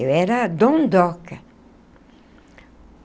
Eu era a dondoca.